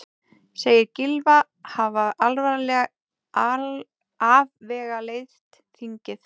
Segir Gylfa hafa afvegaleitt þingið